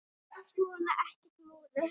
Svona, ekkert múður.